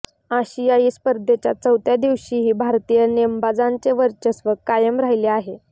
आशियाई स्पर्धेच्या चौथ्या दिवशीही भारतीय नेमबाजांचे वर्चस्व कायम राहिले आहे